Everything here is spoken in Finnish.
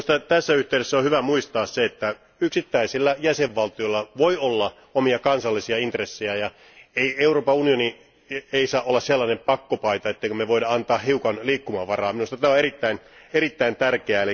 Tässä yhteydessä on hyvä muistaa, että yksittäisillä jäsenvaltioilla voi olla omia kansallisia intressejä. Euroopan unioni ei saa olla sellainen pakkopaita, ettemmekö me voisi antaa hiukan liikkumavaraa. Tämä asia on erittäin tärkeä.